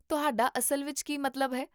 ਤੁਹਾਡਾ ਅਸਲ ਵਿੱਚ ਕੀ ਮਤਲਬ ਹੈ?